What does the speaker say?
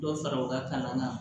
Dɔ fara u ka kalan kan